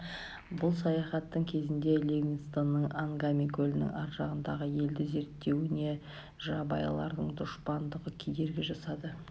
бұл саяхаттың кезінде ливингстонның ангами көлінің аржағындағы елді зерттеуіне жабайылардың дұшпандығы кедергі жасады